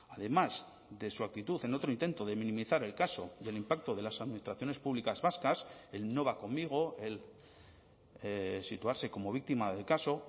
además de su actitud en otro intento de minimizar el caso del impacto de las administraciones públicas vascas el no va conmigo el situarse como víctima del caso